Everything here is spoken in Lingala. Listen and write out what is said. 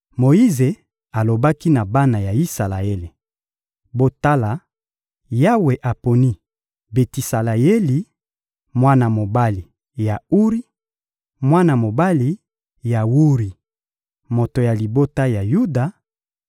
Moyize alobaki na bana ya Isalaele: «Botala, Yawe aponi Betisaleyeli, mwana mobali ya Uri, mwana mobali ya Wuri, moto ya libota ya Yuda;